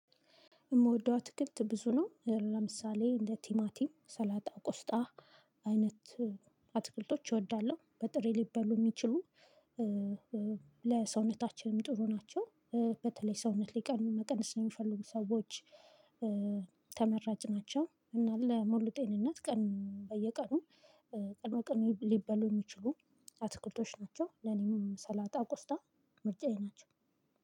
የምወደው አትክልት ብዙ ነው ለምሳሌ እንደ ቲማቲም ሰላጣ ቆስጣ አይነት አትክልቶች እወዳለሁ በጥሬ ሊበሉ የሚችሉ ለሰውነታችንም ጥሩ ናቸው። በተለይ ሰውነት ሊቀኑ መቀንስ የሚፈልጉ ሰዎች። ተመራጭ ናቸው እና ለሙሉ ጤንነት ቀን በየቀኑ ቀን በቀን ሊበሉ የሚችሉ አትክልቶች ናቸው። ለኔም ሰላጣ ቆስጣ ምርጫዬ ናቸው።